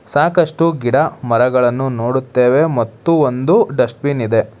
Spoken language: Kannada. ಸಾಕಷ್ಟು ಗಿಡ ಮರಗಳನ್ನು ನೋಡುತ್ತೇವೆ ಮತ್ತು ಒಂದು ಡಸ್ಟ್ ಬಿನ್ ಇದೆ.